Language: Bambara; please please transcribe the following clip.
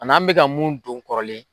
An'an bɛka mun dun kɔrɔlen